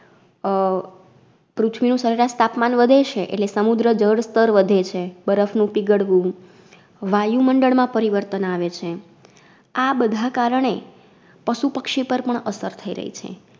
અ પૃથ્વીનું સરેરાશ તાપમાન વધે છે એટલે સમુદ્ર જળસ્તર વધે છે બરફ નું પીગળવું, વાયુમંડળ માં પરિવર્તન આવે છે. આ બધા કારણે પશુપક્ષી પરપણ અસર થાઈ રઈ છે.